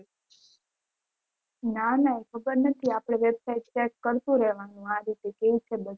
ના ના ખબર નથી આપડે website check કરતુ રહેવાનું આ રીતે કેવું છે